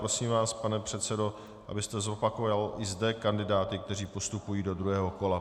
Prosím vás, pane předsedo, abyste zopakoval i zde kandidáty, kteří postupují do druhého kola.